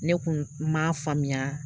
Ne kun m'a faamuya